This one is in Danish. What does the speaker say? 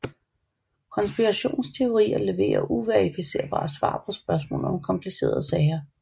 Konspirationsteorier leverer uverificerbare svar på spørgsmål om komplicerede sager